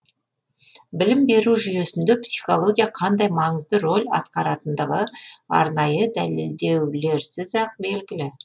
білім беру жүйесінде психология қандай маңызды рөл атқаратындығы арнайы дәлелдеулеріз ақ белгілі